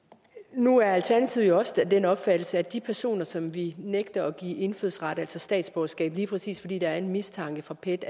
nu er alternativet jo også af den opfattelse at de personer som vi nægter at give indfødsret altså statsborgerskab lige præcis fordi der er en mistanke fra pet